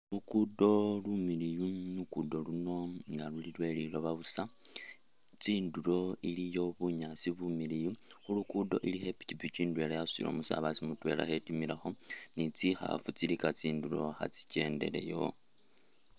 Lugudo lumiliyu lugudo luno nga luli lweliloba busa tsindulo iliyo bunyasi bumiliyu khulugudo ilikho ipikipiki indele yasutile umusabase mutwela alikho atimilakho ni tsikhafu tsilika tsindulo nga tsikyendeleyo.